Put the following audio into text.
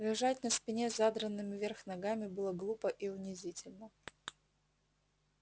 рожать на спине с задранными вверх ногами было глупо и унизительно